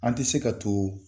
An tɛ se ka to